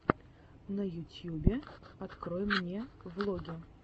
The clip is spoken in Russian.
на ютьюбе открой мне влоги